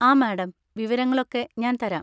ആ, മാഡം, വിവരങ്ങളൊക്കെ ഞാൻ തരാം.